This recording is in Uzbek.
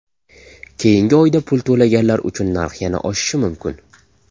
Keyingi oyda pul to‘laganlar uchun narx yana oshishi mumkin.